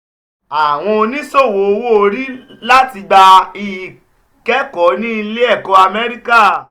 awọn oniṣowo owo-ori lati gba ikẹkọ ni ile-ẹkọ amẹrika